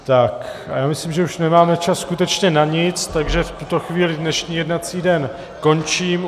A já myslím, že už nemáme čas skutečně na nic, takže v tuto chvíli dnešní jednací den končím.